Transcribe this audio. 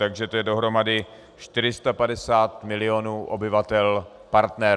Takže to je dohromady 450 milionů obyvatel - partner.